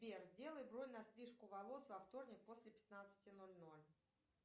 сбер сделай бронь на стрижку волос во вторник после пятнадцати ноль ноль